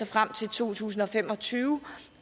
frem til to tusind og fem og tyve